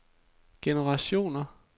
generationer